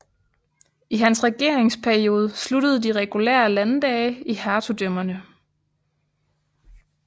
I hans regeringsperiode sluttede de regulære landdage i hertugdømmerne